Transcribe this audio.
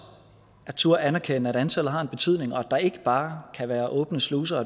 at turde anerkende at antallet har en betydning og at der ikke bare kan være åbne sluser